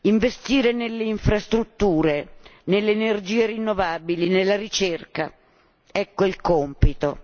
Investire nelle infrastrutture, nelle energie rinnovabili, nella ricerca ecco il compito.